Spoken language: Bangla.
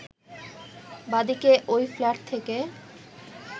বাদীকে ওই ফ্ল্যাট থেকে